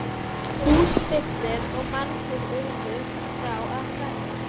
Húsfyllir var og margir urðu frá að hverfa.